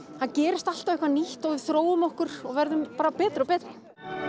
gerist alltaf eitthvað nýtt og við þróum okkur og verðum betri og betri